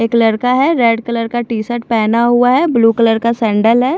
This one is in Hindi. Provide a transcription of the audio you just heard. एक लड़का है रेड कलर का टी शर्ट पहना हुआ है ब्लू कलर का सेंडल है।